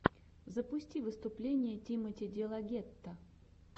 запусти выступление тимоти делагетто